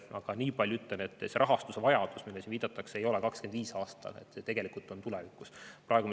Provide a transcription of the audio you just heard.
Aga nii palju ütlen, et see rahastuse vajadus, millele siin viidatakse, ei ole 2025. aastal, see on tegelikult tulevikus.